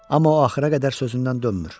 Amma o axıra qədər sözündən dönmür.